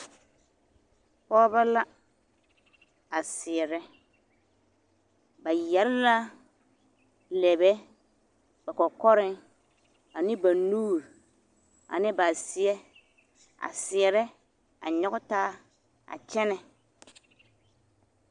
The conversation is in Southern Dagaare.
Pɔgebɔ la a seɛrɛ ba yɛre la lɛbɛ ba kɔkɔreŋ ane ba nuuri ane ba seɛ a seɛrɛ a nyɔge taa a kyɛnɛ.